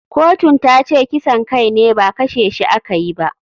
Kotun tace kisan kai ne ba kashe shi a kayi ba.